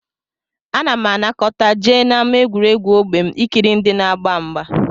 Ana m anọkata jee n'ámá egwuregwu ógbè m ikiri ndị na-agba mgba